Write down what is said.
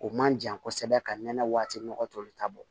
O man jan kosɛbɛ ka nɛnɛ waati nɔgɔ tɔli ta bɔ